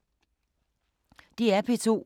DR P2